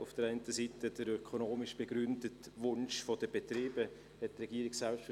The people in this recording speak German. Auf der einen Seite ist es der ökonomisch begründete Wunsch der Betriebe nach längeren Öffnungszeiten;